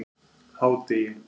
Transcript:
hádegi